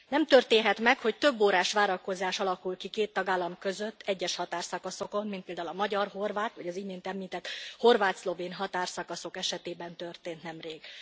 Nem történhet meg, hogy több órás várakozás alakul ki két tagállam között egyes határszakaszokon, mint például a magyar horvát, vagy az imént említett horvát szlovén határszakaszok esetében történt nemrég.